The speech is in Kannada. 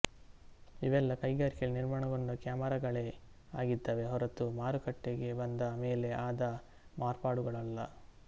ಇವೆಲ್ಲಾ ಕೈಗಾರಿಕೆಯಲ್ಲಿ ನಿರ್ಮಾಣಗೊಂಡ ಕ್ಯಾಮರಾಗಳೇ ಆಗಿದ್ದವೇ ಹೊರತೂ ಮಾರುಕಟ್ಟೆಗೆ ಬಂದ ಮೇಲೆ ಆದ ಮಾರ್ಪಾಡುಗಳಲ್ಲ